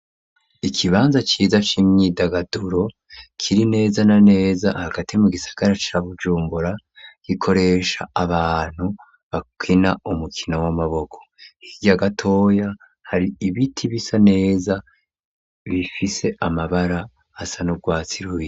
ikibanza ciza c'imyidagaduro .Kiri neza na neza hagati mu gisagara ca Bujumbura gikoresha abantu bakwina umukino w'amaboko hirya gatoya hari ibiti bisa neza bifise amabara asa n'ubwatsi rubisi.